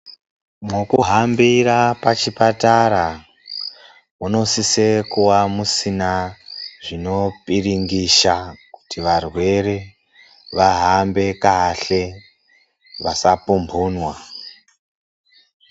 Mwekuhambira pachipatara munosise kua musina zvinopiringisha, kuti varwere vahambe kahle vasapumbhunwa.